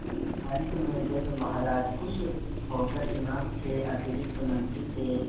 अंत में जब महाराज खुश होकर इनाम के अतिरिक्त मंत्री के